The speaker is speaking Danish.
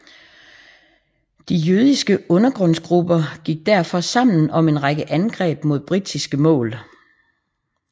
De jødiske undergrundsgrupper gik derfor sammen om en række angreb mod britiske mål